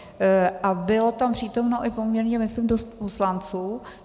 A bylo tam přítomno i poměrně myslím dost poslanců.